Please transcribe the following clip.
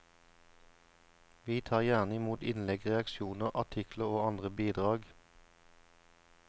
Vi tar gjerne imot innlegg, reaksjoner, artikler og andre bidrag.